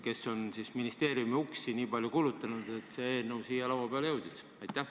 Kes on ministeeriumi uksi piisavalt palju kulutanud, et see eelnõu siia laua peale jõudis?